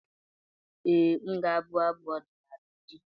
Ee, m ga-abụ abụ ọdịnala echi.